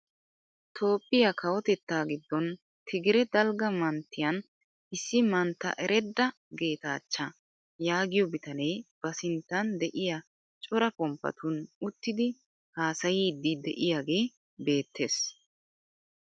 Toophphiyaa kawotettaa giddon tigire dalgga manttiyaan issi mantta eredda geetachcha yaagiyoo bitanee ba sinttan de'iyaa cora pommpaatun uttidi haasayiidi de'iyaagee beettees.